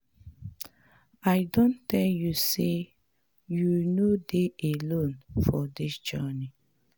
I don tell you sey you no dey alone for dis journey.